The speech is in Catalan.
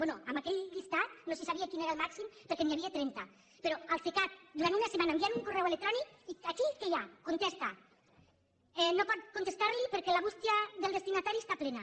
bé amb aquell llistat no se sabia quin era el màxim perquè n’hi havia trenta però al cecat durant una setmana enviant un correu electrònic i aquí què hi ha contesta no pot contestarli perquè la bústia del destinatari està plena